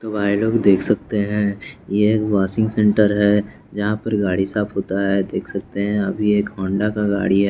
तो भाई लोग देख सकते हैं ये वासिंग सेंटर है जहाँ पर गाड़ी साफ होता है देख सकते हैं अभी एक होंडा का गाड़ी है।